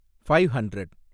five hundred